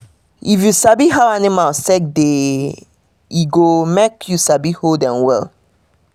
if you sabi how your animals take de e go make you sabi hold dem well